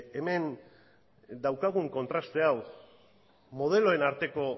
hemen daukagun kontraste hau modeloen arteko